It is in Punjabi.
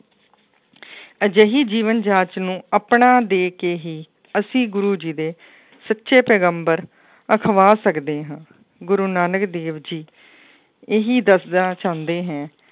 ਅਜਿਹੀ ਜੀਵਨ ਜਾਂਚ ਨੂੰ ਆਪਣਾ ਦੇ ਕੇ ਹੀ ਅਸੀਂ ਗੁਰੂ ਜੀ ਦੇ ਸੱਚੇ ਪੈਗੰਬਰ ਅਖਵਾ ਸਕਦੇ ਹਾਂ ਗੁਰੂ ਨਾਨਕ ਦੇਵ ਜੀ, ਇਹੀ ਦੱਸਣਾ ਚਾਹੁੰਦੇ ਹੈ,